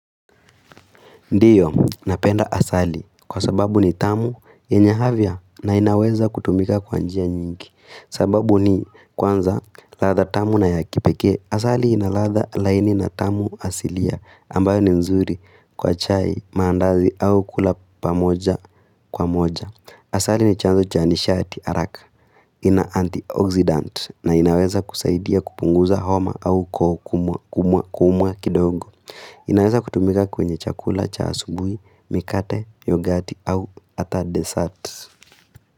Ndiyo, napenda asali kwa sababu ni tamu yenye afya na inaweza kutumika kwa njia nyingi sababu ni kwanza ladha tamu na ya kipekee Asali ina ladha laini na tamu asilia ambayo ni nzuri kwa chai maandazi au kula pamoja kwa moja Asali ni chanzo cha nishati araka ina antioxidant na inaweza kusaidia kupunguza homa au kumwa kumwa kidogo inaweza kutumika kwenye chakula, cha asubuhi, mikate, yogati au ata desert.